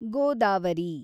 Godavari